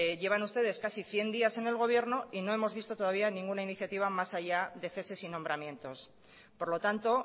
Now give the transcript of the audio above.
llevan ustedes casi cien días en el gobierno y no hemos visto todavía ninguna iniciativa más allá de ceses y nombramientos por lo tanto